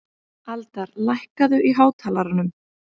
Aldar, lækkaðu í hátalaranum.